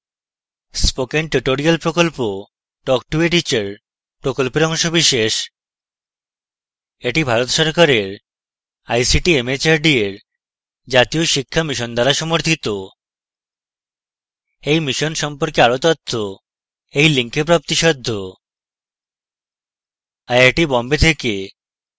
spoken tutorials প্রকল্প talk to a teacher প্রকল্পের অংশবিশেষ এটি ভারত সরকারের ict mhrd এর জাতীয় শিক্ষা mission দ্বারা সমর্থিত এই mission সম্পর্কে আরো তথ্য এই লিঙ্কে প্রাপ্তিসাধ্য